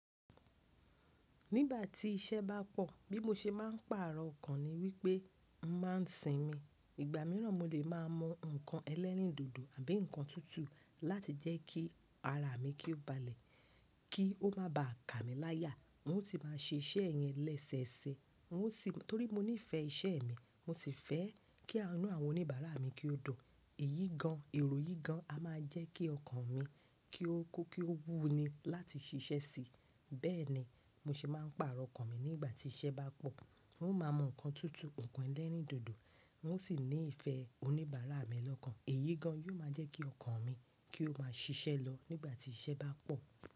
Nígbà tí iṣẹ́ bá pọ̀, bí mo ṣe máa ń pàrọ̀ ọkàn ni wípé mà ń sinmi. Ìgbà míràn mo lè máa mu nǹkan ẹlẹ́rìndòdò àbí nǹkan tútù láti jẹ́ kí ara mi kí ó balẹ̀, kí ó máa ba à ka mi láyà. Mo sì máa ṣe iṣẹ́ yẹn lẹ́sẹẹsẹ. N o sì, torí mo nífẹ̀ẹ́ iṣẹ́ mi, mo sì fẹ́ kí àìnú àwọn oníbàárà mi kí ó dùn. Èyí gan, èrò yìí gan á máa jẹ́ kí ọkàn mi kí ó kó kí ó wú ni láti ṣiṣẹ́ síi. Bẹ́ẹ̀ni, mo ṣe máa ń pàrọ̀ ọkàn mi nígbà tí iṣẹ́ bá pọ̀. Mo máa mu nǹkan tútù, nǹkan ẹlẹ́rìndòdò. N o sì ní ìfẹ́ oníbàárà mi lọ́kàn. Èyí gan yóò máa jẹ́ kí ọkàn mi kí ó máa ṣiṣẹ́ lọ nígbà tí iṣẹ́ bá pọ̀.